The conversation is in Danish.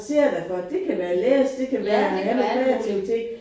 Ja det kan være alt muligt